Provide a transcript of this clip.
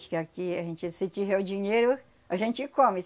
Acho que aqui a gente. Se tiver o dinheiro, a gente come.